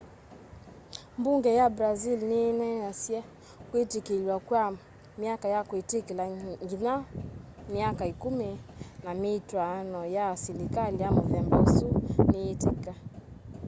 mbunge ya brazil ni ineenaniisye kwitikilw'a kwa myaka ya kwitikila nginya myaka 10 na mitwaano ya silikali ya muthemba usu niyitiki